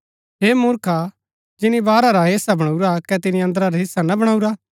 हे मुर्खो जिनी बाहरा रा हिस्सा वणाऊरा कै तिनी अन्दरा रा हिस्सा ना बणाऊरा